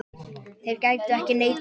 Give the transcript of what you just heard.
Þeir gætu ekki neitað þessu.